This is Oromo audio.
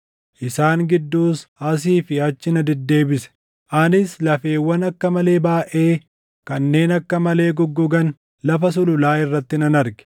Isaan gidduus asii fi achi na deddeebise; anis lafeewwan akka malee baayʼee kanneen akka malee goggogan lafa sululaa irratti nan arge.